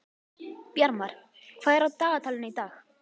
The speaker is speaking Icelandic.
Bjarmar, hvað er á dagatalinu í dag?